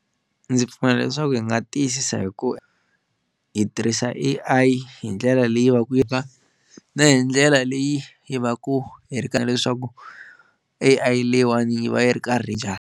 Ndzi pfumela leswaku hi nga tiyisisa hi ku hi tirhisa A_I hi ndlela leyi va ku yi ri ka na hi ndlela leyi yi va ku hi ri karhi leswaku A_I leyiwani yi va yi ri karhi njhani.